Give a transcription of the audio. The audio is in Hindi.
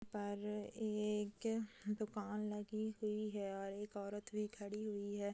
पर अ एक अ दुकान लगी हुई है और एक औरत भी खड़ी हुई है।